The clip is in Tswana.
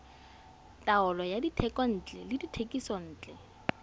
taolo ya dithekontle le dithekisontle